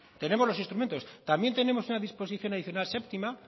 tenemos los instrumentos también tenemos una disposición adicional séptima